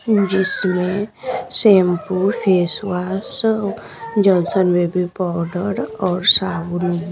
जिसमें shampoo face wash Johnson baby powder और साबुन --